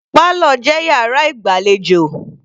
Parlour jẹ́ yàrá ìgbàlejò.